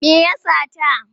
Me ya sata?